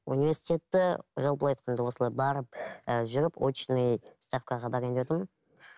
университетті жалпылай айтқанда осылай барып ы жүріп очный ставкаға барайын деп отырмын